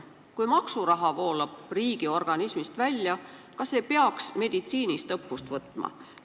Kui maksuraha voolab riigi organismist välja, kas ei peaks meditsiinist õppust võtma?